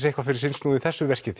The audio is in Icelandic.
eitthvað fyrir sinn snúð í þessu verki